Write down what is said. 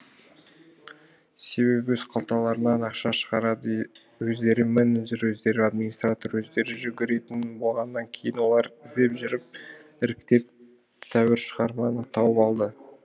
себебі өз қалталарынан ақша шығарады өздері менеджер өздері админстратор өздері жүгіретін болғаннан кейін олар іздеп жүріп іріктеп тәуір шығарманы тауып алды